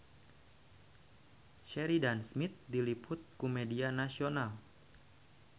Sheridan Smith diliput ku media nasional